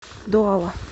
дуала